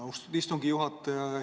Austatud istungi juhataja!